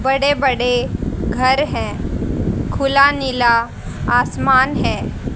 बड़े बड़े घर है खुला नीला आसमान है।